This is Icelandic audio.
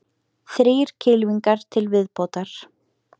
Þrír kylfingar til viðbótar